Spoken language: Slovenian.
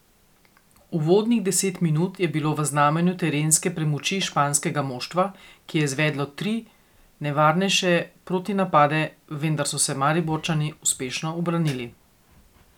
Uvodnih deset minut je bilo v znamenju terenske premoči španskega moštva, ki je izvedlo tri nevarnejše protinapade, vendar so se Mariborčani uspešno ubranili.